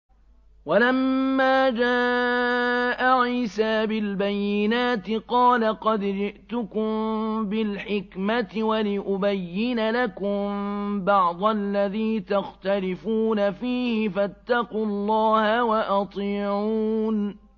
وَلَمَّا جَاءَ عِيسَىٰ بِالْبَيِّنَاتِ قَالَ قَدْ جِئْتُكُم بِالْحِكْمَةِ وَلِأُبَيِّنَ لَكُم بَعْضَ الَّذِي تَخْتَلِفُونَ فِيهِ ۖ فَاتَّقُوا اللَّهَ وَأَطِيعُونِ